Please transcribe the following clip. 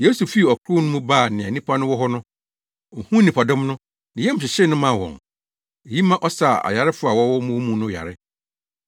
Yesu fii ɔkorow no mu baa nea nnipa no wɔ hɔ no. Ohuu nnipadɔm no, ne yam hyehyee no maa wɔn. Eyi ma ɔsaa ayarefo a wɔwɔ wɔn mu no yare.